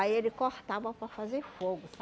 Aí ele cortava para fazer fogo,